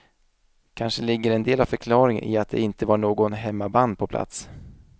Kanske ligger en del av förklaringen i att det inte var något hemmaband på plats.